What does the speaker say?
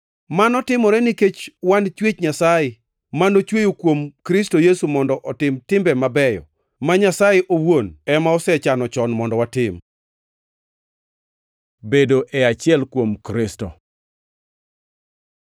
Mano timore nikech wan chwech Nyasaye, manochweyo kuom Kristo Yesu mondo otim timbe mabeyo, ma Nyasaye owuon ema nosechano chon mondo watim. Bedo e achiel kuom Kristo